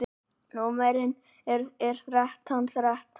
Númerið er þrettán þrettán.